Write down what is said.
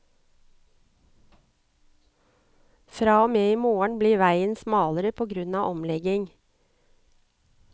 Fra og med i morgen blir veien smalere på grunn av omlegging.